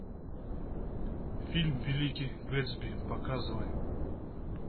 фильм великий гэтсби показывай